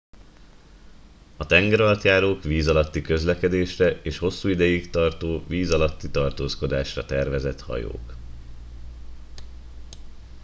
a tengeralattjárók víz alatti közlekedésre és hosszú ideig tartó víz alatti tartózkodásra tervezett hajók